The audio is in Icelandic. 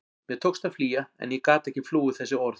Mér tókst að flýja en ég gat ekki flúið þessi orð.